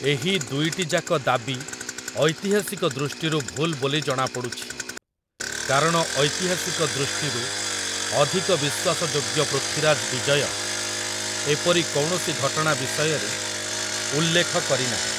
ଏହି ଦୁଇଟିଯାକ ଦାବି ଐତିହାସିକ ଦୃଷ୍ଟିରୁ ଭୁଲ୍‌ ବୋଲି ଜଣାପଡୁଛି, କାରଣ ଐତିହାସିକ ଦୃଷ୍ଟିରୁ ଅଧିକ ବିଶ୍ୱାସଯୋଗ୍ୟ 'ପୃଥ୍ୱୀରାଜ୍ ବିଜୟ' ଏପରି କୌଣସି ଘଟଣା ବିଷୟରେ ଉଲ୍ଲେଖ କରିନାହିଁ ।